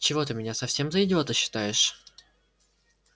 чего ты меня совсем за идиота считаешь